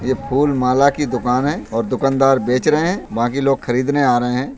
ये फूल माला की दुकान है और दुकानदार बेच रहे हैं बाकी लोग खरीदने आ रहे हैं।